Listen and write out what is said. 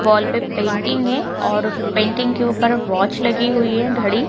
wall पे painting है और उस पेंटिंग के ऊपर पे वॉच लगी हुई है घड़ी --